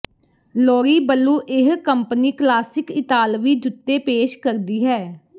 Loriblu ਇਹ company classic ਇਤਾਲਵੀ ਜੁੱਤੇ ਪੇਸ਼ ਕਰਦੀ ਹੈ